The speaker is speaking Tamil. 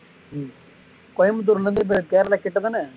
கோயம்புத்தூர்ல இருந்து இப்போ கேரளா கிட்ட தான